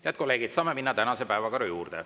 Head kolleegid, saame minna tänase päevakorra juurde.